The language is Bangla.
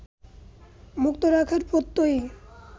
মুক্ত রাখার প্রত্যয়েই